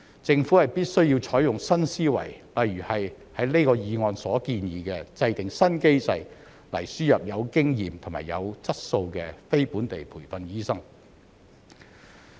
政府必須採用新思維，例如像這項議案所建議，制訂"新機制"來"輸入有經驗及有質素的非本地培訓醫生"。